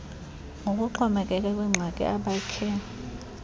ngokuxhomekeke kwiingxaki abakhe